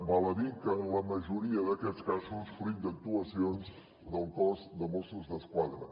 val a dir que en la majoria d’aquests casos fruit d’actuacions del cos de mossos d’esquadra